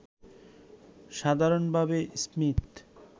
সাধারণভাবে স্মীথ